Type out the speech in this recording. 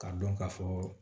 K'a dɔn ka fɔ